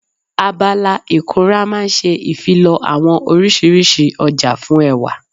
Abala ìkunra máa n ṣe ìfilọ́ àwọn oriṣiríṣi ọjà fún ẹwà